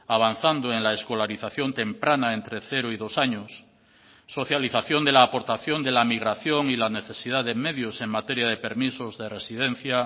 avanzando en la escolarización temprana entre cero y dos años socialización de la aportación de la migración y la necesidad de medios en materia de permisos de residencia